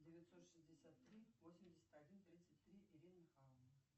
девятьсот шестьдесят три восемьдесят один тридцать три ирина михайловна